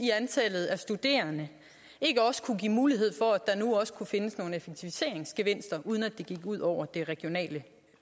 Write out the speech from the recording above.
i antallet af studerende ikke også kunne give mulighed for at der nu også kan findes nogle effektiviseringsgevinster uden at det går ud over det regionale